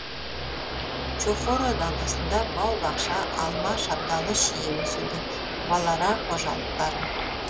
чохора даласында бау бақша алма шабдалы шие өседі балара қожалықтары